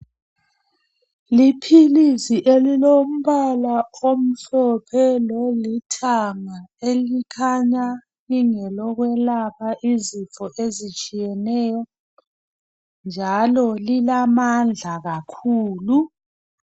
Liphilisi elilombala omhlophe lolithanga elikhanya lingelokwelapha izifo ezitshiyeneyo njalo lilamandla kakhulu.